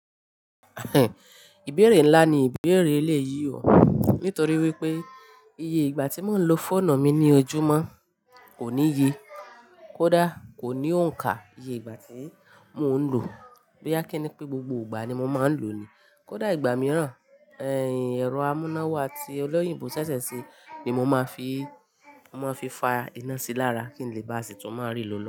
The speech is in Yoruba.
Ìbéèrè ńlá ni ìbéèrè èleyí o, nítorí wípé. Ìyè ìgbà tí mo ń lo fóònù mi lójúmọ́ kò ní ye, kódà kò ní òǹkà iye ìgbà tí mò ń lò, bóyá kì í ní gbogbo ìgbà ni mò máa ń lò ní, kódà ìgbà mìíràn. Ẹ̀rọ amúnáwá tí olóyìnbó ṣẹ̀ṣẹ̀ ṣe ni mo máa fi, mo máa fi fa iná sí lára kí n lè bá a sì tún máa rì lólò.